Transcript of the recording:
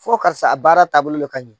Fo karisa a baara taabolo le ka ɲi.